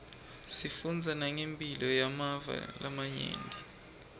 sifundza nangemphilo yemave lamanye